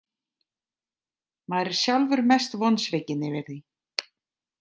Maður er sjálfur mest vonsvikinn yfir því.